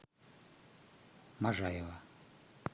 можаева